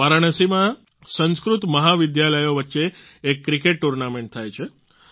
વારાણસીમાં સંસ્કૃત મહાવિદ્યાલયો વચ્ચે એક ક્રિકેટ ટુર્નામેન્ટ થાય છે